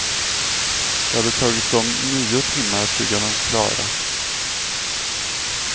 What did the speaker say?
Det hade tagit dem nio timmar att bygga dem klara.